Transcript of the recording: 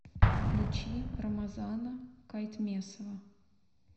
включи рамазана кайтмесова